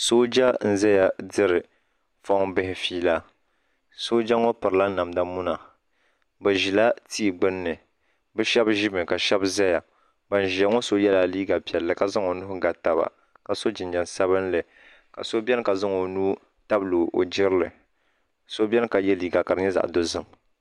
Sooja n zaya diri fɔŋ bihi feela sooja ŋɔ piri la namda muna bi zila tia gbinni bi shɛba zi mi ka shɛba zaya ban ziya ŋɔ so yiɛla liiga piɛlli ka zaŋ o nuhi ga taba ka so jinjam sabinli ka so bɛni ka zaŋ o nuu tabili o girili so bɛni ka yiɛ liiga ka di yɛ zaɣi dozim.